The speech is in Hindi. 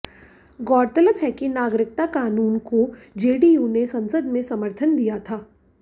गौरतलब है कि नागरिकता कानून को जेडीयू ने संसद में समर्थन दिया था